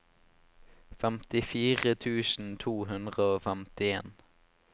femtifire tusen to hundre og femtien